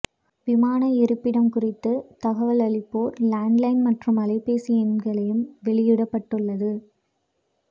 விமான இருப்பிடம் குறித்த தகவல் அளிப்போர் லேண்ட் லைன் மற்றும் அலைபேசி எண்களையும் வெளியிட்டுள்ளது